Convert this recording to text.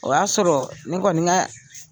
O y'a sɔrɔ ne kɔni ka